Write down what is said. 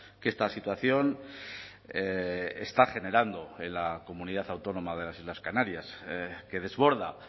que esta situación está generando en la comunidad autónoma de las islas canarias que desborda